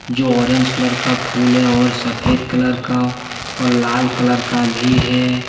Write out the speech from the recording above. जो orange colour का फूल है और सफेद कलर का और लाल कलर का भी है।